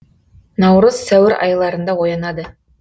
наурыз сәуір айларында оянады